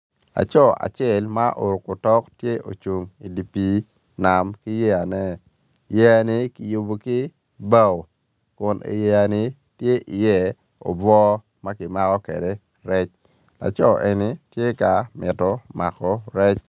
Aco acel ma oruku otok tye ocung idi pii nam ki yeyane yeya-ni kiyubu ki bao kun iyeya-ni tye iye obwo ma ki mako ki rec aco neni to ka mito mako rec